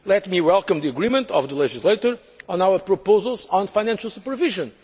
Let me welcome the agreement of the legislator on our proposals on financial supervision.